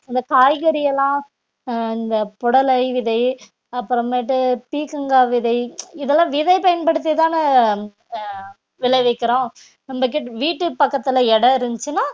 இந்த காய்கறி எல்லாம் ஆஹ் இந்த புடலை விதை அப்புறமேட்டு பீர்க்கங்காய் விதை இதெல்லாம் விதை பயன்படுத்திதானே ஆஹ் அஹ் விளைவிக்கிறோம் நம்மகிட்ட வீட்டு பக்கத்துல இடம் இருந்துச்சுன்னா